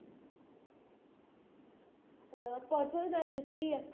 ਹਾਂ ਪਰਸੋਂ ਦੀ ਤਾਂ ਛੁੱਟੀ ਹੈ